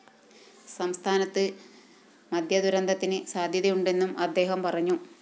സംസ്ഥാനത്ത് മദ്യദുരന്തത്തിന് സാധ്യതയുണ്ടെന്നും അദ്ദേഹം പറഞ്ഞു